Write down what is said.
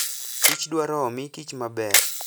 Kich dwaro omii kich maber.